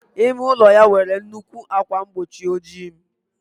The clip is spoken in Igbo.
Ime ụlọ ya nwere nnukwu ákwà mgbochi ojii.